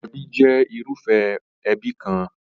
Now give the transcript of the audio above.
Ẹbí jẹ́ irúfẹ́ ẹbí kan.